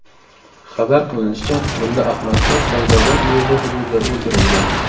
Xabar qilinishicha, mulla Ahmadshoh Fayzobod uyezdi hududida o‘ldirilgan.